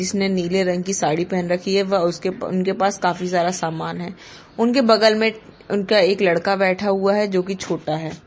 इसने नीले रंग की साड़ी पहन रखी है व उसके उनके पास काफी सारा सामान है उनके बगल में उनका एक लड़का बैठा हुआ है जो कि छोटा है।